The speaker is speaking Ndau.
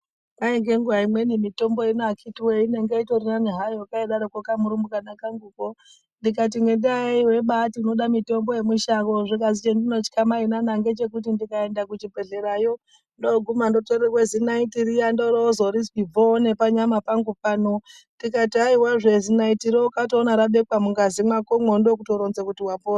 Kwai ngenguwa imweni mitombo ino akhiti woye nani hayo kaidatoko kamurumbwana kanguko ndikati nhendaayei weibati inoda mitombo yemushango zvikanzi chandinotya mainana ngechekuti ndikaenda kuchibhehleya up ndoguma ndotorerwa zinaiti. riya ndororinzei bvo nepanyama pangu pano ndikati haiwazve zinaitiro ikatoona rabekws mungazi makomo ndokutoronza kuti wapona.